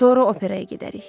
Sonra operaya gedərik.